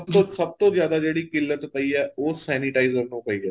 ਸਭ ਤੋਂ ਸਭ ਤੋਂ ਜਿਆਦਾ ਜਿਹੜੀ ਖਿੱਲਤ ਪਈ ਏ ਉਹ sanitizer ਨੂੰ ਪਈ ਏ